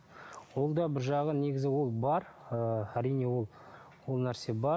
ол да бір жағы негізі ол бар ы әрине ол ол нәрсе бар